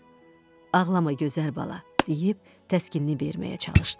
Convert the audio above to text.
Ağlama gözəl bala, deyib təskinni verməyə çalışdım.